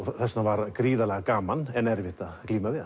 þess vegna var gríðarlega gaman en erfitt að glíma við